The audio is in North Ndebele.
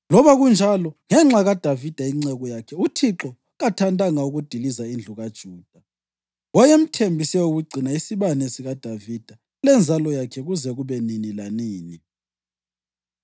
Loba kunjalo, ngenxa kaDavida inceku yakhe, uThixo kathandanga ukudiliza indlu kaJuda. Wayemthembise ukugcina isibane sikaDavida lenzalo yakhe kuze kube nini lanini.